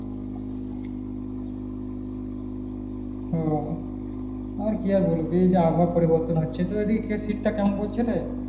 উহ আর কি আর বলবি এই যে আবহাওয়া পরিবর্তন হচ্ছে তো ঐ দিকে শীত টা কেমন পরছে রে